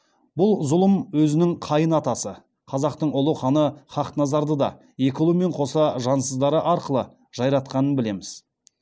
бұл зұлым өзінің қайын атасы қазақтың ұлы ханы хақназарды да екі ұлымен қоса жансыздары арқылы жайратқанын білеміз